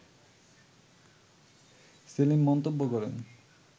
সেলিম মন্তব্য করেন